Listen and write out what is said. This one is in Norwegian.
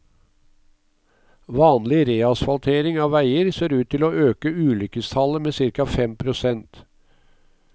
Vanlig reasfaltering av veier ser ut til å øke ulykkestallet med cirka fem prosent.